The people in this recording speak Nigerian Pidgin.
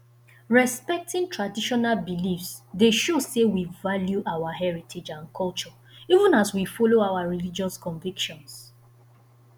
respecting traditional beliefs dey show say we value our heritage and culture even as we follow our religious convictions